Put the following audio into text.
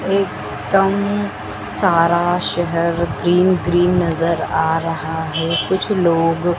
एक दम सारा शहर ग्रीन ग्रीन नजर आ रहा है कुछ लोग--